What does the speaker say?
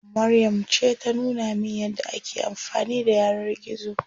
Maryam ce ta nuna min yadda ake amfani da yanar gizo.